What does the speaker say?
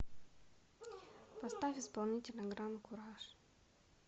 поставь исполнителя гран куражъ